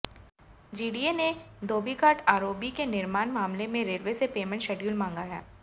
GDA ने Dhobighat ROB के निर्माण मामले में रेलवे से पेमेंट शेड्यूल मांगा है